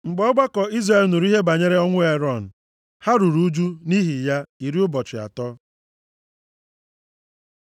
Mgbe ọgbakọ Izrel nụrụ ihe banyere ọnwụ Erọn ha ruru ụjụ nʼihi ya iri ụbọchị atọ.